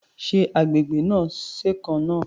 Ṣé agbègbè náà ṣèkan náà?